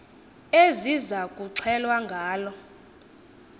eziza kuxhelwa ngalo